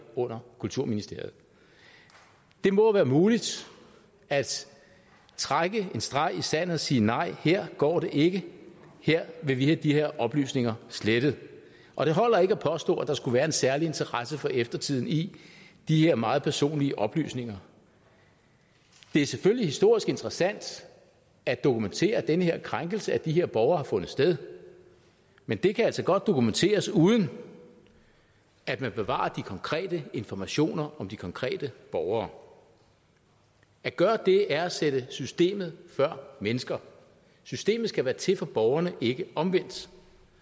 under kulturministeriet det må være muligt at trække en streg i sandet og sige nej her går det ikke her vil vi have de her oplysninger slettet og det holder ikke at påstå at der skulle være en særlig interesse for eftertiden i de her meget personlige oplysninger det er selvfølgelig historisk interessant at dokumentere at den her krænkelse af de her borgere har fundet sted men det kan altså godt dokumenteres uden at man bevarer de konkrete informationer om de konkrete borgere at gøre det er at sætte systemet før mennesker systemet skal være til for borgerne og ikke omvendt